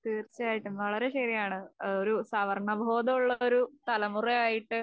തീർച്ചയായിട്ടും വളരേ ശെരിയാണ്. ഒരു സവർണ ബോധമുള്ളൊരു തലമുറയായിട്ട്